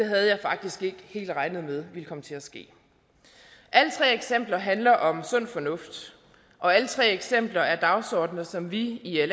havde jeg faktisk ikke helt regnet med ville komme til at ske alle tre eksempler handler om sund fornuft og alle tre eksempler er dagsordener som vi i